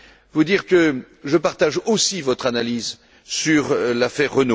pour dire que je partage aussi votre analyse dans cette affaire.